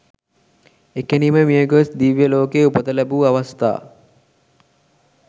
එකණෙහිම මියගොස් දිව්‍ය ලෝකයේ උපත ලැබූ අවස්ථා